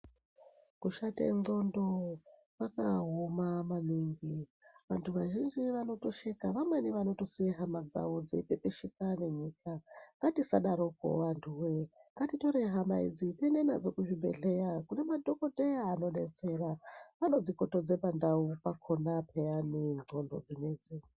Kushate ndxondo kwakaoma maningi antu vazhinji vanotoseka vamweni vanotosiye hama dzawo dzeipepesheka nenyika ngatisadarokwo antu woye ngatitore hama idzi tiende nadzo kuzvibhedhlera kune madhokodheya anodetsera vanodzikotodze pandau pakhona payani ndxondo dzinedzi.